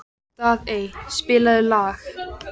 Daðey, spilaðu lag.